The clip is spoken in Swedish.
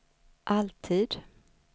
alltid